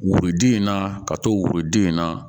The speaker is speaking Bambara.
Woroden in na ka to worodun in na